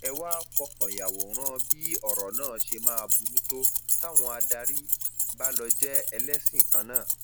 ẹ wàá fọkàn yàwòrán bí ọrọ náà ṣe máa burú tó táwọn adarí bá lọọ jẹ ẹlẹsìn kan náà